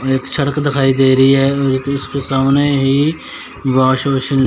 एक सड़क दिखाई दे रही है और एक उसके सामने ही वॉश बेसिंग --